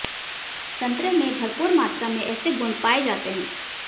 संतरे में भरपूर मात्रा में ऐसे गुण पाएं जाते है